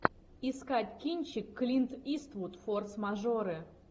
искать кинчик клинт иствуд форс мажоры